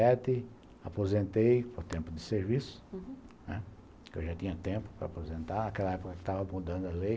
Em noventa e sete, aposentei por tempo de serviço, uhum, porque eu já tinha tempo para aposentar, naquela época que eu estava mudando a lei.